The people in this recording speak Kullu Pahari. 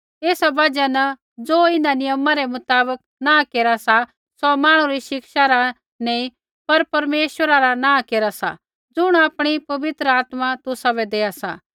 एस बजहा न ज़ो इन्हां नियमा रै मुताबक नाँह केरा सा सौ मांहणु री शिक्षा रा नी पर परमेश्वरा रा नाँ केरा सा ज़ुण आपणी पवित्र आत्मा तुसाबै देआ सा